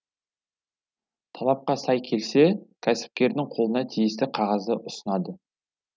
талапқа сай келсе кәсіпкердің қолына тиісті қағазды ұсынады